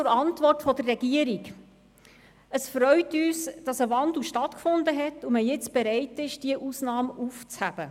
Zur Antwort der Regierung: Es freut uns, dass ein Wandel stattgefunden hat und man jetzt bereit ist, diese Ausnahme aufzuheben.